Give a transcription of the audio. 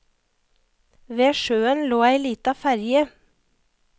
Ved sjøen lå ei lita ferge.